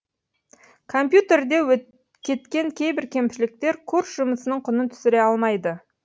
компьтерде кеткен кейбір кемшіліктер курс жұмысының құнын түсіре алмайды